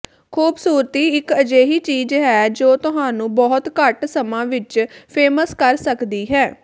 ਖੂਬਸੂਰਤੀ ਇੱਕ ਅਜਿਹੀ ਚੀਜ ਹੈ ਜੋ ਤੁਹਾਨੂੰ ਬਹੁਤ ਘੱਟ ਸਮਾਂ ਵਿੱਚ ਫੇਮਸ ਕਰ ਸਕਦੀ ਹੈ